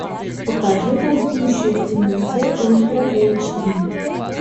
покажи танцующая в темноте ультра эйч ди